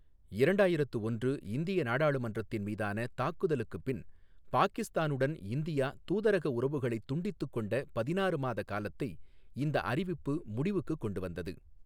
இரண்டாயிரத்து ஒன்று இந்திய நாடாளுமன்றத்தின் மீதான தாக்குதலுக்குப் பின் பாகிஸ்தானுடன் இந்தியா தூதரக உறவுகளைத் துண்டித்துக் கொண்ட பதினாறு மாத காலத்தை இந்த அறிவிப்பு முடிவுக்குக் கொண்டுவந்தது.